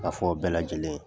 Ka fɔ bɛɛ lajɛlen ye.